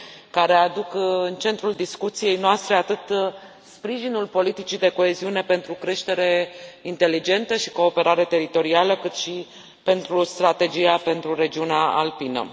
care aduc în centrul discuției noastre atât sprijinul politicii de coeziune pentru creștere inteligentă și cooperare teritorială, cât și pentru strategia pentru regiunea alpină.